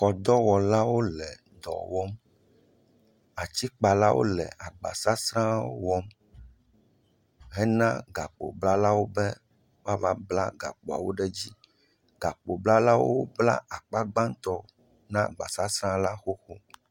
Mɔdɔwɔlawo le dɔ wɔm, atikpalawo hã le agbasasra wɔm hena gakpo blalawo be woava bla gakpoa ɖe dzi. Gakpo blalawo bla gbãtɔ na agbasasrala xo.